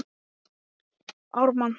Hvernig gengur að selja svona bíla?